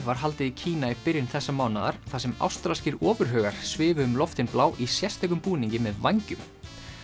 var haldið í Kína í byrjun þessa mánaðar þar sem ástralskir ofurhugar svifu um loftin blá í sérstökum búningi með vængjum